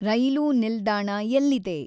ರೈಲೂ ನಿಲ್ದಾಣ ಎಲ್ಲಿದೆ